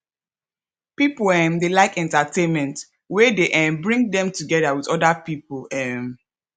pipo um dey like entertainment wey dey um bring dem together with oda pipo um